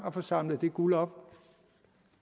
at få samlet det guld op